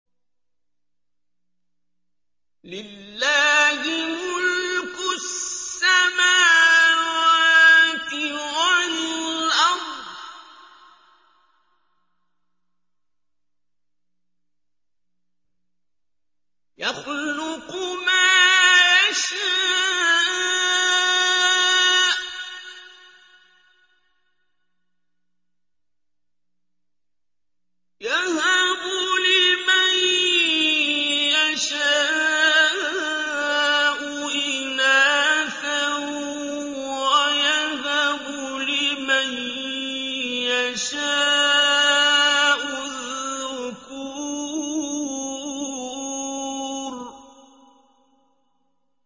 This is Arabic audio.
لِّلَّهِ مُلْكُ السَّمَاوَاتِ وَالْأَرْضِ ۚ يَخْلُقُ مَا يَشَاءُ ۚ يَهَبُ لِمَن يَشَاءُ إِنَاثًا وَيَهَبُ لِمَن يَشَاءُ الذُّكُورَ